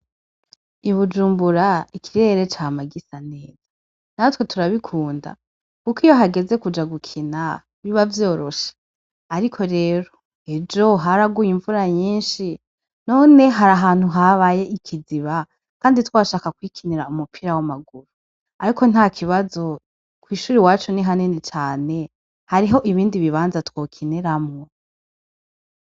I Bujumbura, ikirere cama gisa neza Kandi tyrabikunda, kuko iyo hageze kuja gukina biba vyoroshe, ariko rero ejo haraguye imvura nyinshi none hari ahantu habaye ikiziba twashaka kwikinira umupira w'amaguru, ariko ntakibazo kw'ishure iwacu ni hanini cane hariho ibindi bibanza two kiniramwo.